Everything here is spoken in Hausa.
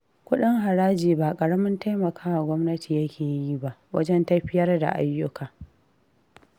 Kuɗin haraji ba ƙaramin taimaka wa gwamnati yake ba, wajen tafiyar da ayyuka